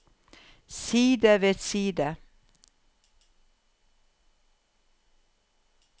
side ved side